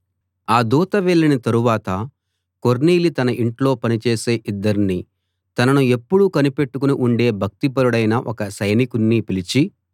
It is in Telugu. ఆ దూత వెళ్ళిన తరువాత కొర్నేలి తన ఇంట్లో పని చేసే ఇద్దర్ని తనను ఎప్పుడూ కనిపెట్టుకుని ఉండే భక్తిపరుడైన ఒక సైనికుణ్ణి పిలిచి